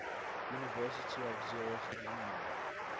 university of zurich alumni